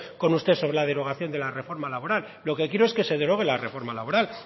con usted sobre la derogación de la reforma laboral lo que quiero es que se derogue la reforma laboral